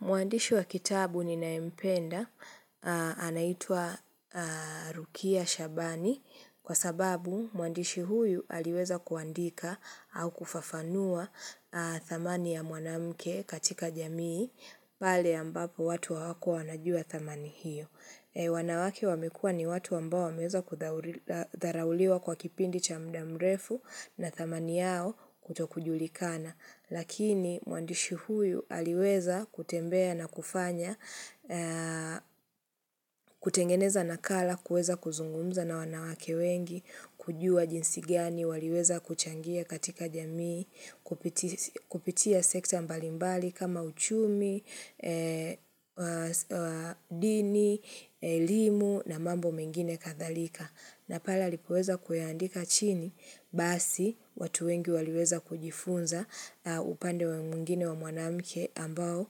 Mwandishi wa kitabu ninaye mpenda anaitwa Rukia Shabani kwa sababu mwandishi huyu aliweza kuandika au kufafanua thamani ya mwanamke katika jamii pale ambapo watu hawakuwa wanajua thamani hiyo. Wanawake wamekua ni watu ambao wameweza kudharauliwa kwa kipindi cha mda mrefu na thamani yao kuto kujulikana. Lakini mwandishi huyu aliweza kutembea na kufanya, kutengeneza nakala, kueza kuzungumza na wanawake wengi, kujua jinsi gani, waliweza kuchangia katika jamii, kupitia sekta mbalimbali kama uchumi, dini, elimu na mambo mengine kadhalika na pale alipoweza kuyaandika chini basi watu wengi waliweza kujifunza upande mwingine wa mwanamke ambao